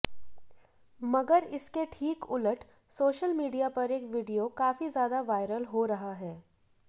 मगर इसके ठीक उलट सोशल मीडिया पर एक वीडियो काफी ज्यादा वायरल हो रहा है